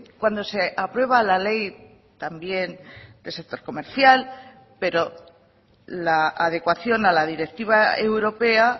cuando se aprueba la ley también del sector comercial pero la adecuación a la directiva europea